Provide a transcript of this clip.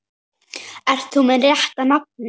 Ert þú með rétta nafnið?